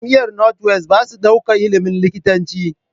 Jamiar north west basa ɗaukar ilimin likitanci